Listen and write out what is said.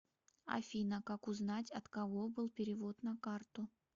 афина как узнать от кого был перевод на карту